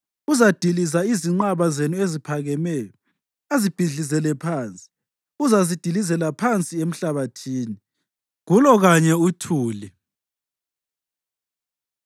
Uzadiliza izinqaba zenu eziphakemeyo azibhidlizele phansi; uzazidilizela phansi emhlabathini, kulo kanye uthuli.